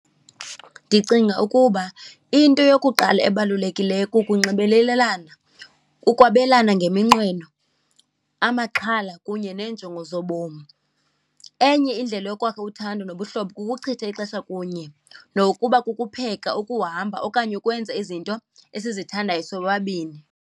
Ndicinga ukuba into yokuqala ebalulekileyo kukunxibelelelana, ukwabelana ngeminqweno, amaxhala kunye neenjongo zobomi. Enye indlela yokwakha uthando nobuhlobo kukuchitha ixesha kunye, nokuba kukupheka, ukuhamba okanye ukwenza izinto esizithandayo sobabini.